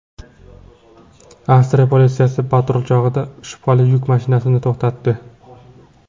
Avstriya politsiyasi patrul chog‘ida shubhali yuk mashinasini to‘xtatdi.